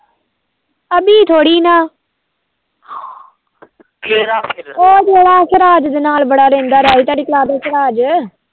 ਅਭੀ ਥੋੜੀ ਨਾ ਕਿਹੜਾ ਫਿਰ ਉਹ ਜਿਹੜਾ ਸਿਰਾਜ ਦੇ ਨਾਲ ਰਹਿੰਦਾ